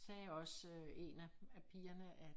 Sagde også en af af pigerne at